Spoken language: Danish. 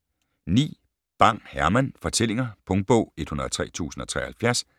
9. Bang, Herman: Fortællinger Punktbog 103073